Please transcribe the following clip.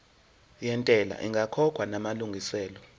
yentela ingakakhokhwa namalungiselo